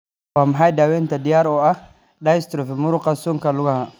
Waa maxay daawaynta diyaar u ah dystrophy muruqa suunka lugaha?